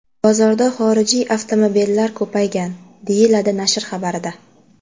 Bozorda xorijiy avtomobillar ko‘paygan”, deyiladi nashr xabarida.